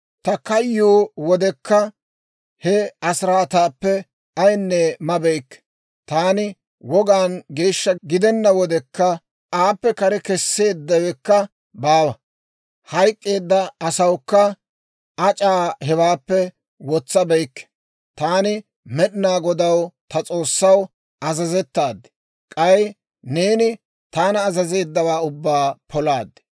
Ta kayyuwaa wodekka, he asiraataappe ayinne mabeykke; taani wogaan geeshsha gidenna wodekka, aappe kare kesseeddawekka baawa; hayk'k'eedda asawukka ac'aa hewaappe wotsabeykke. Taani Med'inaa Godaw, ta S'oossaw, azazettaad; k'ay neeni taana azazeeddawaa ubbaa polaad.